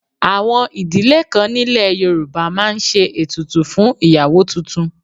Àwọn ìdílé kan nílẹ̀ Yorùbá máa ń ṣe ètùtù fún ìyàwó tuntun